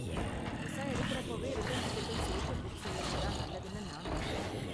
Visa எடுக்கறப்போவே return டிக்கெட்டும் சேத்து புக் செய்யறது தான் நல்லதுனு நான் நெனைக்கிறேன்.